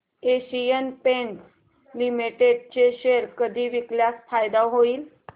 Asian Paints Limited चे share कधी विकल्यास फायदा होईल